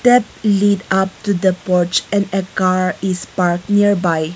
that up to the that pouch and a car is parked nearby.